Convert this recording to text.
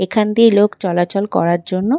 এখান দিয়ে লোক চলাচলের করার জন্য --